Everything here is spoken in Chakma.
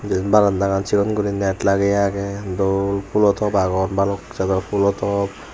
iben barandagan sigon guri net lageye age dol phulo top agon balok jador phulo top.